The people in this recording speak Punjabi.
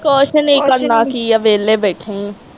ਕੁਛ ਨਹੀਂ ਕਰਨਾ ਕੀ ਆ ਵੇਹਲੇ ਬੈਠੇ ਈ।